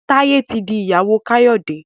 Taye tí fí ìyàwó Kayode.